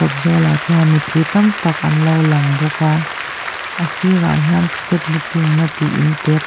zawlah chuan mipui tam tak anlo lang bawk a a sir ah hian ticket booking na tih inte pa--